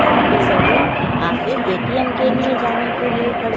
यहा पे सभी आगे ए_टी_एम के लिए जाने के लिए खड़े--